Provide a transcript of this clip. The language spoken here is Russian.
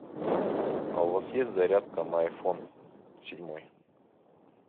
а у вас есть зарядка на айфон седьмой